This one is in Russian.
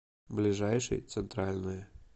ближайший центральное